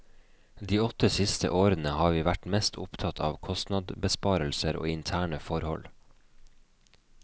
De åtte siste årene har vi vært mest opptatt av kostnadsbesparelser og interne forhold.